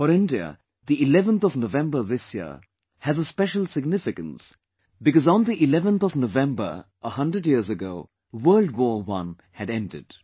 For India, 11th of November this year has a special significance because on 11thNovember a hundred years back the World War I had ended